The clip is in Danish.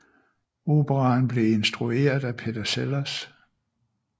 Operaen blev instrueret af Peter Sellars